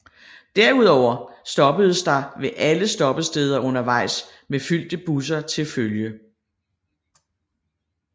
Derudover stoppedes der ved alle stoppesteder undervejs med fyldte busser til følge